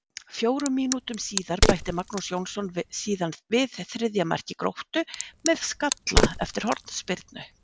Fjórum mínútum síðar bætti Magnús Jónsson síðan við þriðja marki Gróttu með skalla eftir hornspyrnu.